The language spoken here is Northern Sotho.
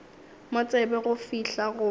mo tsebe go fihla fao